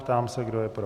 Ptám se, kdo je pro?